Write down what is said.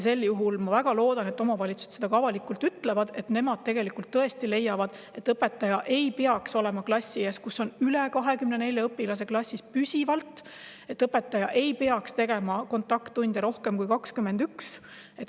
Sel juhul ma väga loodan, et omavalitsused ütlevad seda ka avalikult, et nemad tõesti leiavad, et õpetaja ei peaks olema klassi ees, kus on püsivalt üle 24 õpilase, ja õpetaja ei peaks andma kontakttunde rohkem kui 21.